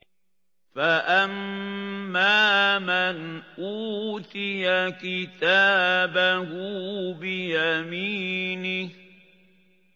فَأَمَّا مَنْ أُوتِيَ كِتَابَهُ بِيَمِينِهِ